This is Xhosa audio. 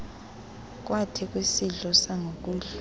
kwathi kwisidlo sangokuhlwa